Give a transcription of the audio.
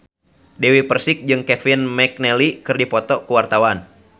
Dewi Persik jeung Kevin McNally keur dipoto ku wartawan